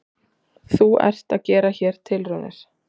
Þú ert að gera hér tilraunir?